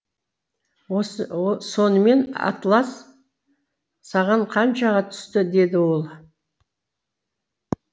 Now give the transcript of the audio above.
сонымен атлас саған қаншаға түсті деді ол